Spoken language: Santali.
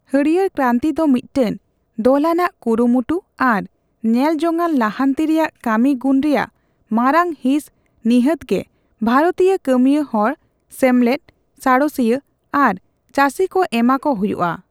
ᱦᱟᱹᱲᱭᱟᱹᱨ ᱠᱨᱟᱱᱛᱤ ᱫᱚ ᱢᱤᱫᱴᱟᱝ ᱫᱚᱞᱟᱱᱟᱜ ᱠᱩᱨᱩᱢᱩᱴᱩ ᱟᱨ ᱧᱮᱞᱡᱚᱝᱼᱟᱱ ᱞᱟᱦᱟᱱᱛᱤ ᱨᱮᱭᱟᱜ ᱠᱟᱹᱢᱤᱜᱩᱱ ᱨᱮᱭᱟᱜ ᱢᱟᱨᱟᱝᱦᱤᱸᱥ ᱱᱤᱦᱟᱹᱛᱜᱮ ᱵᱷᱟᱨᱚᱛᱤᱭᱚ ᱠᱟᱹᱢᱤᱭᱟᱹ ᱦᱚᱲ, ᱥᱮᱢᱞᱮᱫ, ᱥᱟᱬᱮᱥᱤᱭᱟᱹ ᱟᱨ ᱪᱟᱥᱤᱠᱚ ᱮᱢᱟᱠᱚ ᱦᱳᱭᱳᱜᱼᱟ ᱾